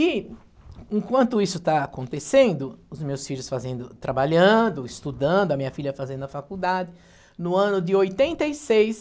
E enquanto isso está acontecendo, os meus filhos fazendo, trabalhando, estudando, a minha filha fazendo a faculdade, no ano de oitenta e seis